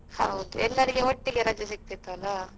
ಹೌದು ಎಲ್ಲರಿಗೆ ಒಟ್ಟಿಗೆ ರಜೆ ಸಿಕ್ತಿತ್ತಲ್ಲ.